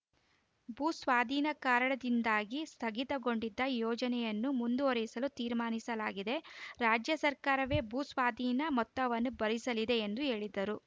ಭೂಸ್ವಾಧೀನ ಕಾರಣದಿಂದಾಗಿ ಸ್ಥಗಿತಗೊಂಡಿದ್ದ ಯೋಜನೆಯನ್ನು ಮುಂದುವರಿಸಲು ತೀರ್ಮಾನಿಸಲಾಗಿದೆ ರಾಜ್ಯ ಸರ್ಕಾರವೇ ಭೂಸ್ವಾಧೀನ ಮೊತ್ತವನ್ನು ಭರಿಸಲಿದೆ ಎಂದು ಹೇಳಿದರು